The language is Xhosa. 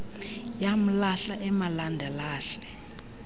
yamlahla emalanda lahla